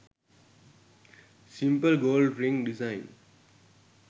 simple gold ring design